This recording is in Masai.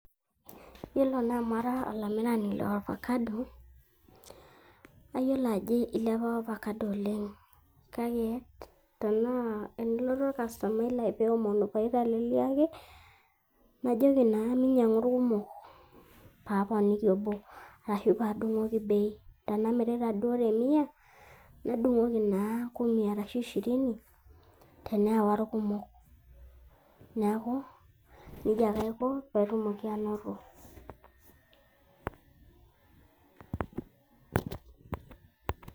Yiolo naa amu ara olamirani le ofakado, nayiolo ajo ilepa ofakado oleng'. Kake tenaa tenelotu orkasomai lai peomonu paiteleliaki, najoki naa minyang'u irkumok, pa aponiki obo, ashu padung'oki bei. Tenamirita duo te mia, nadung'oku naa kumi arashu shirini, teneewa irkumok. Neeku, nejia ake aiko petumoki ainoto.